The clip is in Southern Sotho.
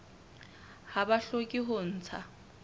ha ba hloke ho ntsha